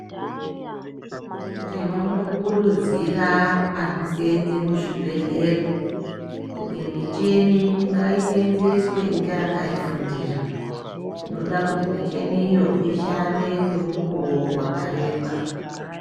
Tinondokurudzira anoseenze muzvibhedhleya kuti michini ngaishandiswe ngeakaifundira, tinode kuti michiniyo ishande kwemukuwo wakareba.